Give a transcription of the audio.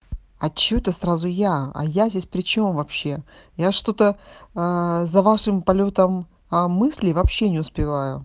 а чего то сразу я а я здесь причём вообще я что-то за вашим полётом а мысли вообще не успеваю